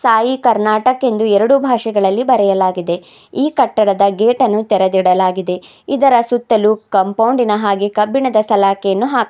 ಸಾಯಿ ಕರ್ನಾಟಕ್ ಎಂದು ಎರಡು ಭಾಷೆಗಳಲ್ಲಿ ಬರೆಯಲಾಗಿದೆ ಈ ಕಟ್ಟಡದ ಗೇಟ್ ಅನ್ನು ತೆರೆದಿಡಲಾಗಿದೆ ಇದರ ಸುತ್ತಲೂ ಕಾಂಪೌಂಡ್ ಇನ ಹಾಗೆ ಕಬ್ಬಿಣದ ಸಲಾಕೆಯನ್ನು ಹಾಕ --